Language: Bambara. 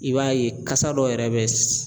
I b'a ye kasa dɔ yɛrɛ bɛ